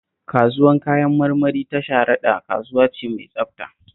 Kasuwar Kayan marmari ta Sharaɗa kasuwa ce mai tsabta